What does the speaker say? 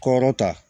Kɔrɔ ta